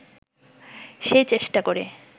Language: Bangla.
সেই চেষ্টা করে